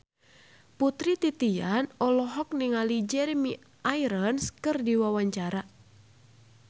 Putri Titian olohok ningali Jeremy Irons keur diwawancara